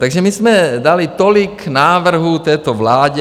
Takže my jsme dali tolik návrhů této vládě.